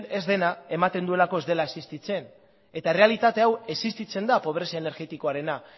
ez dena ematen duelako ez dela existitzen eta errealitate hau existitzen da pobrezia energetikoarena